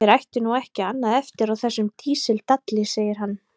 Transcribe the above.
Þeir ættu nú ekki annað eftir á þessum dísildalli, segir hann.